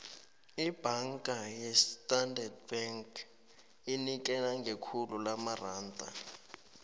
ibhanga yakwastandard bank inikela ngekhulu lamaranda